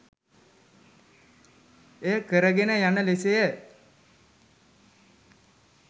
එය කරගෙන යන ලෙසය